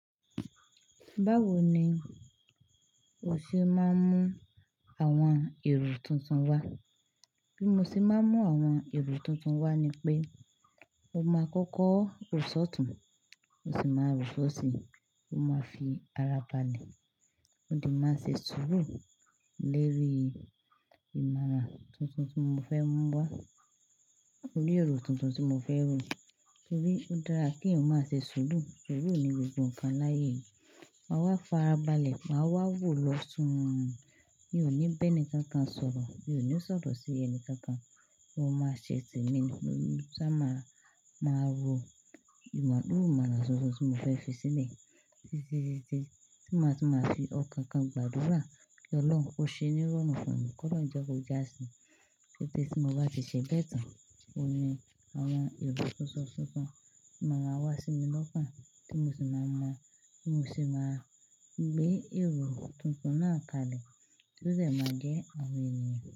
Báwo ni o ṣe máa ń mú àwọn èrò tuntun wá? Bí mo ṣe máa ń mú àwọn èrò tuntun wá ni pé mo máa kọ́kọ́ rò sọ̀tún, mo sì máa rò sọ̀sí, mo máa fi ara balẹ̀, mó de máa ṣe sùúrù lérí ìmọ̀ràn tuntun tí mo fẹ́ mú wá. Orí èrò tuntun tí mo fẹ́ rò, torí ó dára kí ǹ ó má ṣe ṣùúrù, suuru ni gbogbo nǹkan láyé yìí. Máa wá fara balẹ̀, màá wá wò lọ́ sún mi, mi ò ní ń bẹ́ni kankan sọ̀rọ̀, mi ò ní sọ̀rọ̀ sí ẹni kankan, mo máa ṣe tèmi, sá máa, máa ro ìmọ̀, kini ìmàna tuntun tí mo fẹ́ fi sílẹ̀. Títítití ti màá, tun màá fi ọkàn kan gbàdúrà kí Ọlọ́run kó ṣe ní rọrùn fún mi, kolorun jẹ́ ko já a sí i. Kete tí mo bá ti ṣe bẹ́ẹ̀ tán, òní àwọn èrò tuntun tuntun máa ma wá sí mi lọ́kanọ, tí mo sì máa ma, ti mo sì máa gbé èrò tuntun náà kalẹ̀, tí ó de máa jẹ́ àwọn ènìyàn.